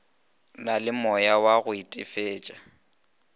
na le moyawa go itefetša